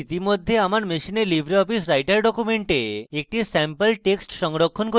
আমি ইতিমধ্যে আমার machine libreoffice writer document একটি স্যাম্পল text সংরক্ষণ করেছি